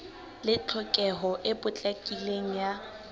le tlhokeho e potlakileng ya